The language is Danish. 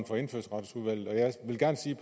for indfødsretsudvalget jeg vil gerne sige